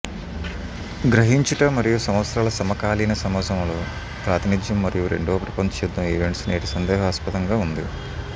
గ్రహించుట మరియు సంవత్సరాల సమకాలీన సమాజంలో ప్రాతినిధ్యం మరియు రెండవ ప్రపంచ యుద్ధం ఈవెంట్స్ నేటి సందేహాస్పదంగా ఉంది